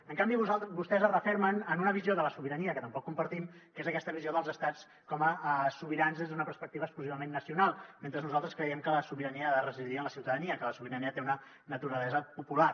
en canvi vostès es refermen en una visió de la sobirania que tampoc compartim que és aquesta visió dels estats com a sobirans des d’una perspectiva exclusivament nacional mentre nosaltres creiem que la sobirania ha de residir en la ciutadania que la sobirania té una naturalesa popular